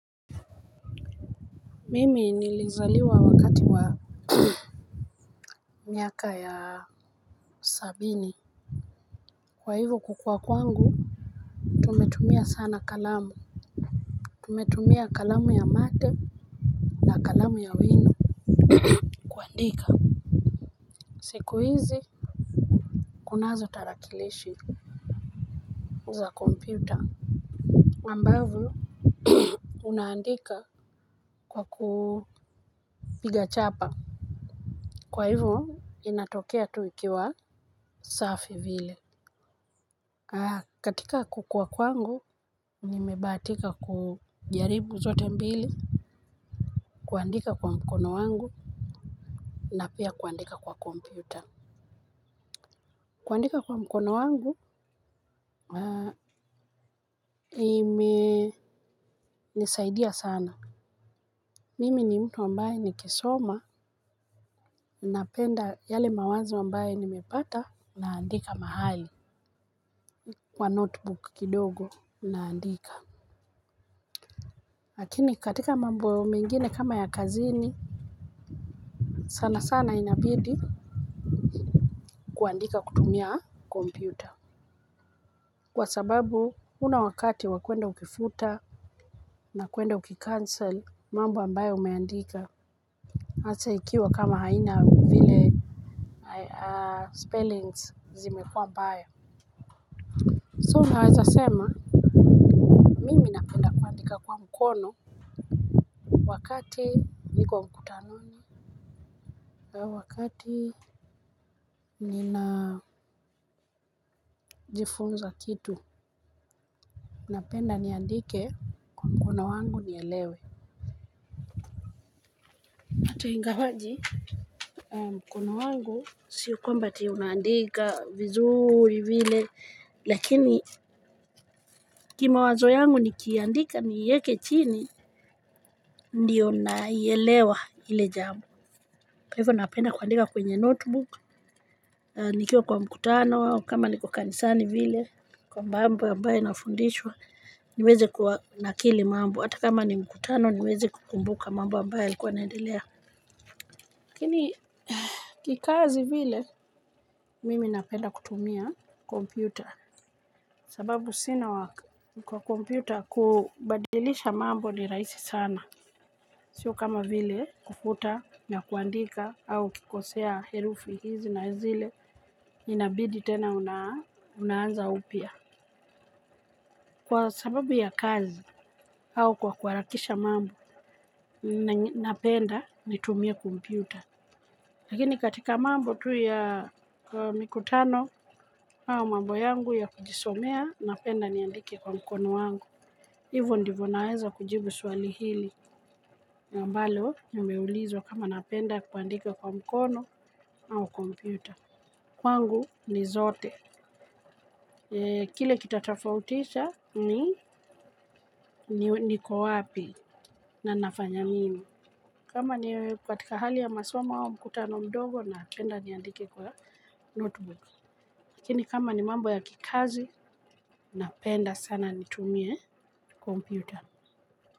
Mimi nilizaliwa wakati wa miaka ya sabini kwa hivyo kukua kwangu tumetumia sana kalamu. Tumetumia kalamu ya mate. Kalamu ya wino kuandika. Siku hizi kunazo tarakilishi za kompyuta ambavyo unaandika kwa kupiga chapa, kwa hivyo inatokea tu ikiwa safi vile, katika kukua kwangu nimebahatika kujaribu zote mbili. Kuandika kwa mkono wangu na pia kuandika kwa kompyuta. Kuandika kwa mkono wangu imenisaidia sana. Mimi ni mtu ambaye nikisoma napenda yale mawazo ambayo nimepata, naandika mahali kwa notebook kidogo naandika. Lakini katika mambo mengine kama ya kazini sana sana inabidi kuandika kutumia kompyuta kwa sababu huna wakati wa kuenda ukifuta na kuenda ukicancel mambo ambayo umeandika answer ikiwa kama haina vile spellings zimekuwa mbaya. So naweza sema mimi napenda kuandika kwa mkono wakati niko mkutanoni au wakati ninajifunza kitu. Napenda niandike kwa mkono wangu nielewe. Hata ingawaje mkono wangu sio kwamba ati unaandika vizuri vile lakini kimawazo yangu nikiandika niieke chini. Ndiyo naielewahile jambo. Kwa hivyo napenda kuandika kwenye notebook, nikiwa kwa mkutano au kama niko kanisani vile kwa mambo ambayo nafundishwa. Niweze kunakili mambo hata kama ni mkutano niweze kukumbuka mambo ambayo yalikuwa yanaendelea. Lakini kikazi vile mimi napenda kutumia kompyuta sababu sina wa kwa kompyuta kubadilisha mambo ni rahisi sana, sio kama vile kufuta na kuandika au ukikosea herufi hizi na zile inabidi tena unaanza upya. Kwa sababu ya kazi au kwa kuharakisha mambo napenda nitumie kompyuta. Lakini katika mambo tu ya mikutano au mambo yangu ya kujisomea, napenda niandike kwa mkono wangu. Hivyo ndivyo naweza kujibu swali hili. Ambalo nimeulizwa kama napenda kuandika kwa mkono au kompyuta. Kwangu ni zote. Kile kitatofautisha ni niko wapi na ninafanya nini. Kama ni katika hali ya masomo au mkutano mdogo, napenda niandike kwa notebook. Lakini kama ni mambo ya kikazi, napenda sana nitumie kompyuta.